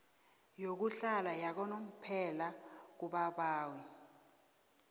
yokuhlala yakanomphela kubabawi